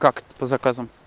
как это по заказам